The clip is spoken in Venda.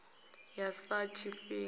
ya sa na tshifhango i